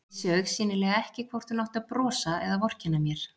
Vissi augsýnilega ekki hvort hún átti að brosa eða vorkenna mér.